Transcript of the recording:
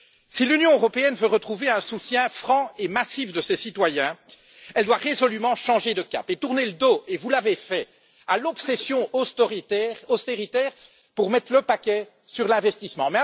Si l'Union européenne veut retrouver un soutien franc et massif de ses citoyens, elle doit résolument changer de cap et tourner le dos et vous l'avez fait à l'obsession austéritaire pour mettre le paquet sur l'investissement.